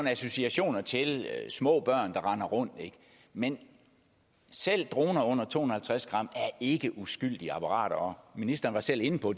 associationer til små børn der render rundt men selv droner under to hundrede og halvtreds gram er ikke uskyldige apparater og ministeren var selv inde på